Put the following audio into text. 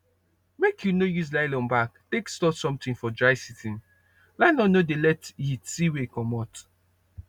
make u no use nylon bag take store something for dry season nylon no dey let heat see way comot